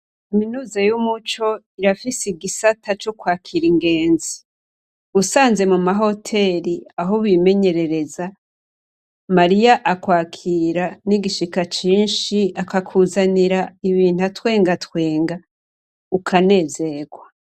Kaminuza y'Umuco irafise igisata c'ukwakira ingenzi. usanze muma hoteri aho bimenyerereza, Mariya akakira n'igishika cinshi, akakuzanira ibintu atwengatwenga, ukanezerwa.